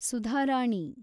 Sudharani